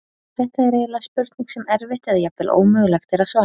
Þetta er eiginlega spurning sem erfitt eða jafnvel ómögulegt er að svara.